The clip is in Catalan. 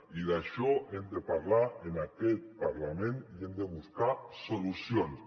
i d’això hem de parlar en aquest parlament i hi hem de buscar solucions